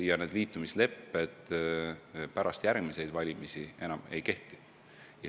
Ja need liitumislepped pärast järgmisi valimisi enam ei kehti.